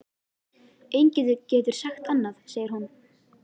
Enginn getur sagt annað, segir hún.